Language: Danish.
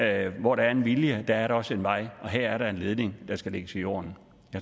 at hvor der er en vilje er der også en vej og her er der en ledning der skal lægges i jorden